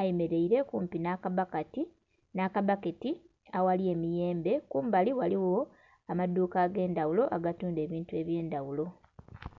ayemeleile kumpi nh'akabbaketi aghali emiyembe. Kumbali ghaligho amaduuka ag'endhagulo agatundha ebintu eby'endaghulo.